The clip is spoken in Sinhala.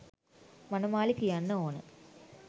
මනමාලි කියන්න ඕන.